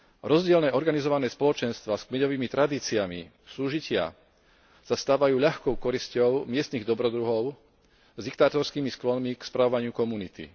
Rozdielne organizované spoločenstvá s kmeňovými tradíciami súžitia sa stávajú ľahkou korisťou miestnych dobrodruhov s diktátorskými sklonmi k spravovaniu komunity.